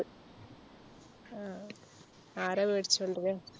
അഹ് ആരാ വേടിച്ചോണ്ടരാ?